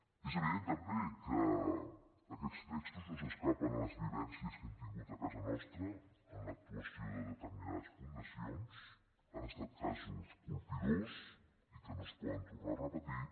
és evident també que aquests textos no s’escapen de les vivències que hem tingut a casa nostra en l’actuació de determinades fundacions han estat casos colpidors i que no es poden tornar a repetir